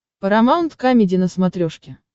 парамаунт камеди на смотрешке